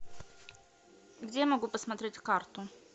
где я могу посмотреть карту